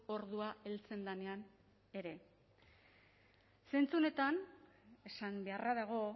ordua heltzen denean ere zentzu honetan esan beharra dago